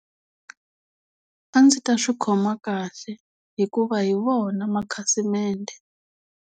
A ndzi ta swi khoma kahle hikuva hi vona makhasimende.